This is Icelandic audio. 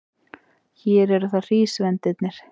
Hér eru það hrísvendirnir.